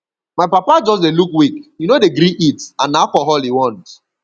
my papa just dey look weak he no dey gree eat and na alcohol he want